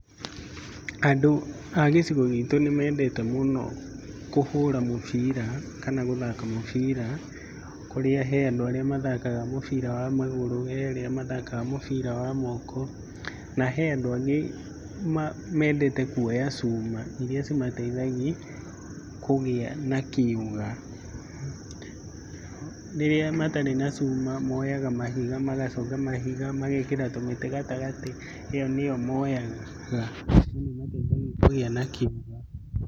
Andũ a gĩcigo gitũ nĩmendete mũno kũhũra mũbira kana gũthaka mũbira, kũrĩa he andũ arĩa mathakaga mũbira wa magũrũ. He arĩa mathaka mũbĩra wa moko. Na he andũ angĩ mendete kuoya cuma iria cimateithagia kũgĩa na kĩũga. Rĩrĩa matarĩ na cuma moyaga mahiga magaconga mahiga, magekĩra tũmĩtĩ gatagatĩ , ĩyo nĩyo moyaga na nĩ ĩmateithagia kũgĩa na kĩũga.